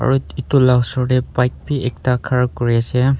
aru etu la osor te bike bi ekta khara kuri ase.